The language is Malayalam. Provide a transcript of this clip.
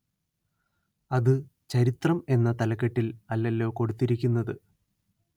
അത് ചരിത്രം എന്ന തലക്കെട്ടില്‍ അല്ലല്ലോ കൊടുത്തിരിക്കുന്നത്